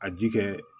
A ji kɛ